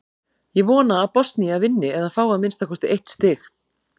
Ég vona að Bosnía vinni eða fái að minnsta kosti eitt stig.